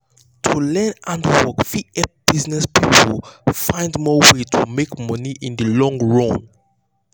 to learn handwork fit help business people find more way to make money in the long run.